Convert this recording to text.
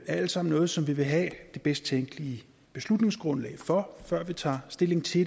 er alt sammen noget som vi vil have det bedst tænkelige beslutningsgrundlag for før vi tager stilling til